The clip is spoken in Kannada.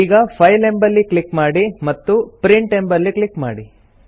ಈಗ ಫೈಲ್ ಎಂಬಲ್ಲಿ ಕ್ಲಿಕ್ ಮಾಡಿ ಮತ್ತು ಪ್ರಿಂಟ್ ಎಂಬಲ್ಲಿ ಕ್ಲಿಕ್ ಮಾಡಿ